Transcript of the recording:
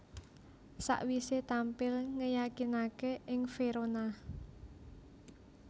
Sakwisé tampil ngeyakinaké ing Verona